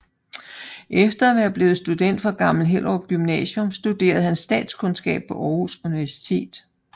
Efter at være blevet student fra Gammel Hellerup Gymnasium studerede han statskundskab på Aarhus Universitet